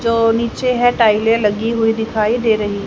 जो नीचे है टाइले लगी हुई दिखाई दे रही--